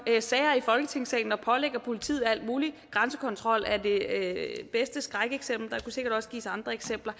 sager i folketingssalen og pålægger politiet alt muligt grænsekontrollen er det bedste skrækeksempel der kunne sikkert også gives andre eksempler